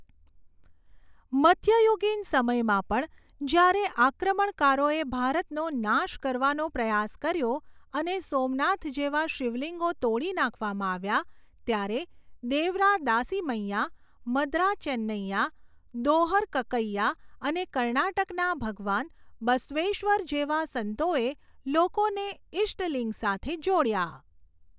મધ્યયુગીન સમયમાં પણ, જ્યારે આક્રમણકારોએ ભારતનો નાશ કરવાનો પ્રયાસ કર્યો, અને સોમનાથ જેવા શિવલિંગો તોડી નાખવામાં આવ્યા, ત્યારે દેવરા દાસિમૈયા, મદરા ચેન્નઈયા, દોહર કક્કૈયા અને કર્ણાટકના ભગવાન બસવેશ્વર જેવા સંતોએ લોકોને ઈષ્ટલિંગ સાથે જોડ્યા.